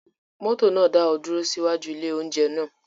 Mọ́tò náà dá ọ dúró sí iwájú ilé-oúnjẹ náà?